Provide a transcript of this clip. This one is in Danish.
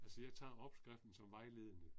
Altså jeg tager opskriften som vejledende